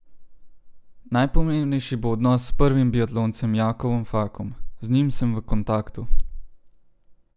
Najpomembnejši bo odnos s prvim biatloncem Jakovom Fakom: "Z njim sem v kontaktu.